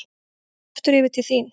Aftur yfir til þín.